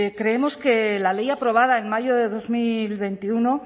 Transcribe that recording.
creemos que la ley aprobada en mayo de dos mil veintiuno